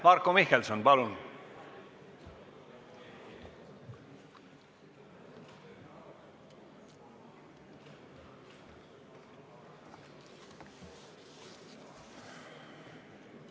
Marko Mihkelson, palun!